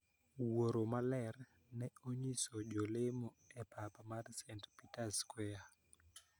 Wuoro maler ne onyiso jolemo e pap mar st. Peters Square